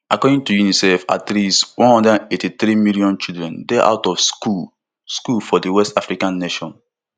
according to unicef at least one hundred and eighty-three million children dey out of school school for di west african nation